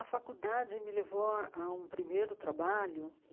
A faculdade me levou a a um primeiro trabalho.